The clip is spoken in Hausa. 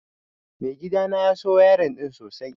Mai gidana ya so wayarin ɗin sosai